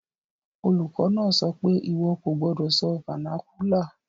Olùkó náà sopé, "ìwọ ko ni sọ vernacular